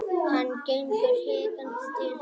Hann gengur hikandi til hans.